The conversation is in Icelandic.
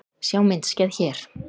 Sjá myndskeið hér